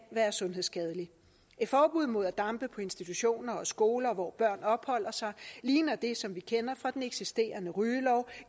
være sundhedsskadelig et forbud mod at dampe på institutioner og skoler hvor børn opholder sig ligner det som vi kender fra den eksisterende rygelov